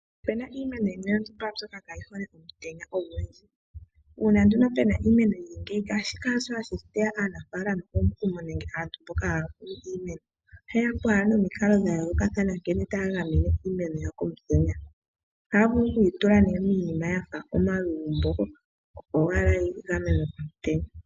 Opena iimeno yimwe yontumba mbyoka kaayi hole omutenya ogundji ,uuna nduno pena iimeno yili ngeyi shika hasho hashi teya aanafalama omukumo nenge aantu mboka haa kunu iimeno oha ye yapo niinima ya yooloka ngaashi okuyiningila omalugumbo opo ashike yi gamenwe komutenya.